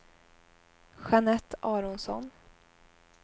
Jeanette Aronsson